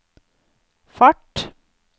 fart